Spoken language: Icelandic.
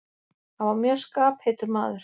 Hann var mjög skapheitur maður.